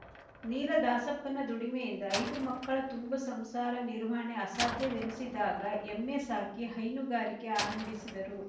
ನೀಲದಾಸಪ್ಪನ ದುಡಿಮೆಯಿಂದ ಐದು ಮಕ್ಕಳ ತುಂಬು ಸಂಸಾರ ನಿರ್ವಹಣೆ ಅಸಾಧ್ಯವೆನ್ನಿಸಿದಾಗ ಎಮ್ಮೆ ಸಾಕಿ ಹೈನುಗಾರಿಕೆ ಆರಂಭಿಸಿದರು